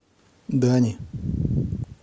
дани